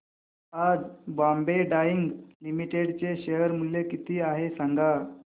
आज बॉम्बे डाईंग लिमिटेड चे शेअर मूल्य किती आहे सांगा